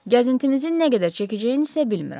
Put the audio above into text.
Gəzintimizin nə qədər çəkəcəyini isə bilmirəm.